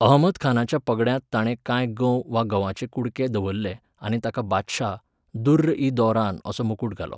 अहमदखानाच्या पगड्यांत ताणें कांय गंव वा गंवाचे कुडके दवरले आनी ताका बादशाह, दुर्र इ दौरान असो मुकूट घालो.